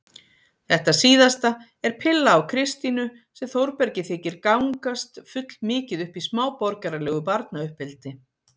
Þetta síðasta er pilla á Kristínu sem Þórbergi þykir gangast fullmikið upp í smáborgaralegu barnauppeldi.